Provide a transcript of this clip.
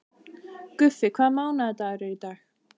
Guffi, hvaða mánaðardagur er í dag?